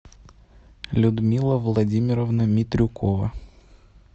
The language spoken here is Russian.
людмила владимировна митрюкова